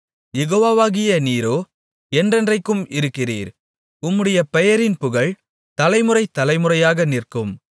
யெகோவாவாகிய நீரோ என்றென்றைக்கும் இருக்கிறீர் உம்முடைய பெயரின் புகழ் தலைமுறை தலைமுறையாக நிற்கும்